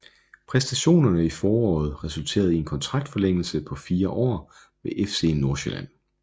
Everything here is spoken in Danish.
Præstationerne i foråret resulterede i en kontraktforlængelse på fire år med FC Nordsjælland